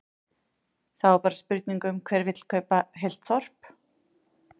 Þá er bara spurning um hver vill kaupa heilt þorp?